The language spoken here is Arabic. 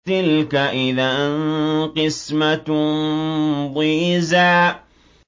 تِلْكَ إِذًا قِسْمَةٌ ضِيزَىٰ